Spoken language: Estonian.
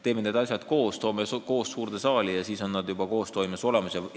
Teeme neid asju korraga, toome nad koos suurde saali ja siis on nad juba koostoimes olemas!